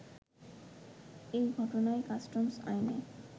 এই ঘটনায় কাস্টমস আইনে